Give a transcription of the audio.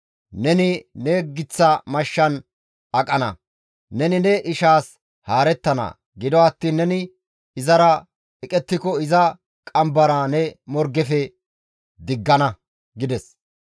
Neni ne giththa mashshan aqana; neni ne ishaas haarettana; gido attiin neni izara eqettiko iza qambara ne morgefe diggana» gides.